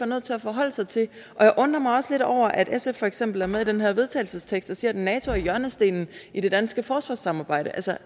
nødt til at forholde sig til jeg undrer mig for eksempel er med i den her vedtagelsestekst der siger at nato er hjørnestenen i det danske forsvarssamarbejde